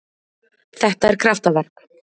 Þetta er kraftaverk.